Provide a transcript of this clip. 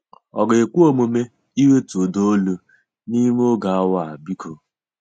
Ọ ga-ekwe omume iwetu ụda olu n'ime oge awa, biko?